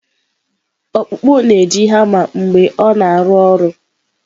Ọkpụkpụ na-eji hama mgbe ọ na-arụ ọrụ.